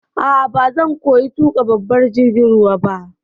A'a, bazan koya tuƙa babban jirgin ruwa ba.